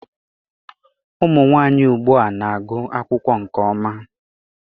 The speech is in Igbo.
Ụmụ nwanyị ugbua na-agụ akwụkwọ nke ọma